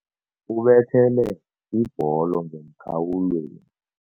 Ubethele ibholo ngemkhawulweni.